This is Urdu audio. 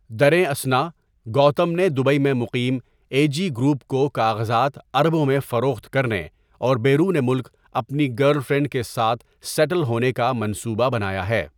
دریں اثنا، گوتم نے دبئی میں مقیم اے جی گروپ کو کاغذات اربوں میں فروخت کرنے اور بیرون ملک اپنی گرل فرینڈ کے ساتھ سیٹل ہونے کا منصوبہ بنایا ہے۔